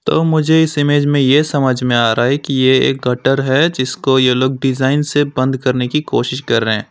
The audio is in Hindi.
तो मुझे इस इमेज में ये समझ में आ रहा है कि ये एक गटर है जिसको ये लोग डिज़ाइन से बंद करने की कोशिश कर रहे हैं।